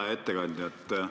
Hea ettekandja!